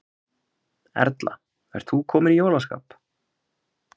Erla, ert þú komin í jólaskap?